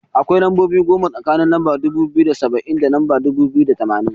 Akwai lambobi goma tsakanin lamba dubu biyu da saba'in, da lamba dubu biyu da tamanin.